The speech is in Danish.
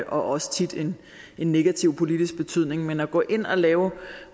også tit en negativ politisk betydning men at gå ind og lave